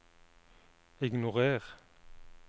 ignorer